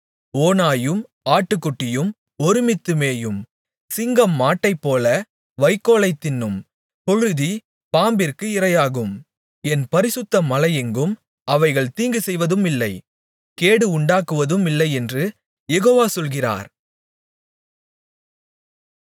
ஓனாயும் ஆட்டுக்குட்டியும் ஒருமித்து மேயும் சிங்கம் மாட்டைப்போல வைக்கோலைத் தின்னும் புழுதி பாம்பிற்கு இரையாகும் என் பரிசுத்த மலையெங்கும் அவைகள் தீங்குசெய்வதுமில்லை கேடு உண்டாக்குவதுமில்லையென்று யெகோவா சொல்கிறார்